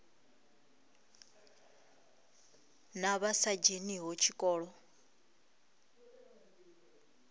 na vha sa dzheniho tshikolo